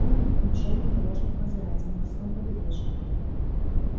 фоном к ним шёл внедорожник мазерати на морском побережье